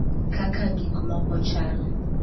Kaka gikmoko chal